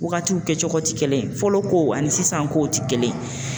Wagatiw kɛ cogo ti kelen ye fɔlɔ kow ani sisan kow ti kelen ye